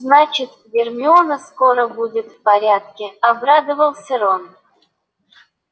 значит гермиона скоро будет в порядке обрадовался рон